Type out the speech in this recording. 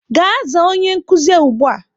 Gaa zaa onye nkuzi ugbua!